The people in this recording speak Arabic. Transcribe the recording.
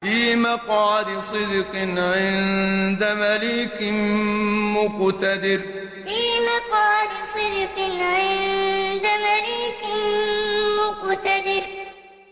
فِي مَقْعَدِ صِدْقٍ عِندَ مَلِيكٍ مُّقْتَدِرٍ فِي مَقْعَدِ صِدْقٍ عِندَ مَلِيكٍ مُّقْتَدِرٍ